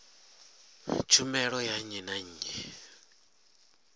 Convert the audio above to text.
tshumelo ya nnyi na nnyi